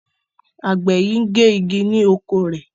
Àgbè yí ngè ìgi ni okọ̀ rẹ.